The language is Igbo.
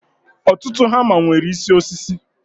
Ọtụtụ hama nwere isi osisi